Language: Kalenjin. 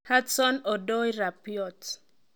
Hudson -Odoi, Rabiot.